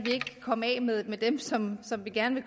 komme af med dem som som vi gerne